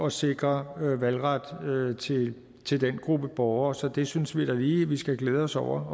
at sikre valgret til til den gruppe borgere så det synes vi da lige vi skal glæde os over